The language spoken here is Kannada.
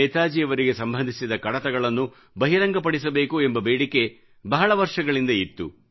ನೇತಾಜಿಯವರಿಗೆ ಸಂಬಂಧಿಸಿದ ಕಡತಗಳನ್ನು ಬಹಿರಂಗಪಡಿಸಬೇಕು ಎಂಬ ಬೇಡಿಕೆ ಬಹಳ ವರ್ಷಗಳಿಂದ ಇತ್ತು